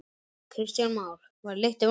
Kristján Már: Var lyktin vond?